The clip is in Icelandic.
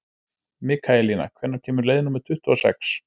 Mikaelína, hvenær kemur leið númer tuttugu og sex?